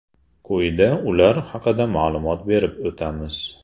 Quyida ular haqida ma’lumot berib o‘tamiz.